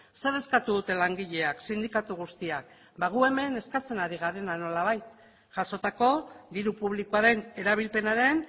zer eskatu dute langileak sindikatu guztiak gu hemen eskatzen ari garena nolabait jasotako diru publikoaren erabilpenaren